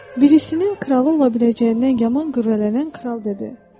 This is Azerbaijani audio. Birisinin kralı ola biləcəyindən yaman qürrələnən kral dedi.